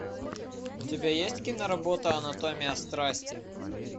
у тебя есть киноработа анатомия страсти